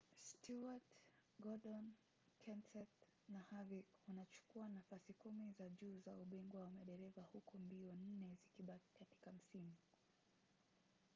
stewart gordon kenseth na harvick wanachukua nafasi kumi za juu za ubingwa wa madereva huku mbio nne zikibaki katika msimu